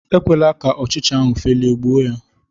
ekwela ka ọchcha ahụ felie, gbuo ya!